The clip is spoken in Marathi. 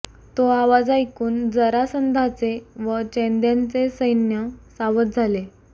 तो आवाज ऐकून जरासंधाचे व चैद्यांचे सैन्य सावध झाले